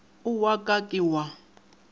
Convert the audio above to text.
o wa ka ke wa